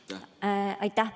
Aitäh!